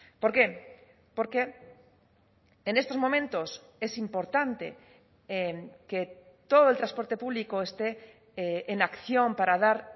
por qué porque en estos momentos es importante que todo el transporte público esté en acción para dar